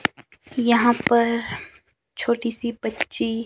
यहां पर छोटी सी बच्ची--